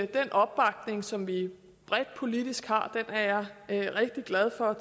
den opbakning som vi bredt politisk har er jeg rigtig glad for